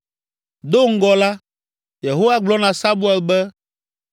Do ŋgɔ la, Yehowa gblɔ na Samuel be,